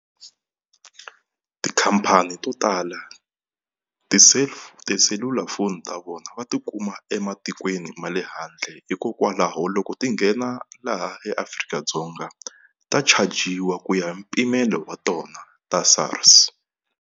Tikhampani to tala tiselulafoni ta vona va tikuma ematikweni ma le handle hikokwalaho loko ti nghena laha eAfrika-Dzonga ta chajiwa ku ya mpimelo wa tona ta SARS.